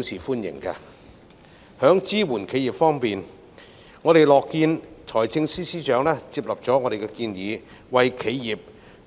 在支援企業方面，我們樂見財政司司長接納我們的建議，為企業